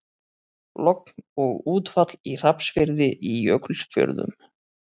Logn og útfall í Hrafnsfirði í Jökulfjörðum.